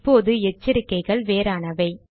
இப்போது எச்சரிக்கைகள் வேறானவை